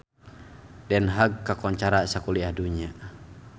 Den Haag kakoncara sakuliah dunya